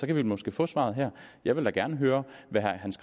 kan vi måske få svaret her jeg vil da gerne høre hvad herre hans